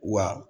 Wa